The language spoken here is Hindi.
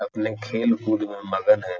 अपने खेल-कूद में मगन है।